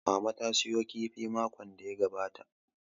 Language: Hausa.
Mama ta sayo kifi makon da ya gabata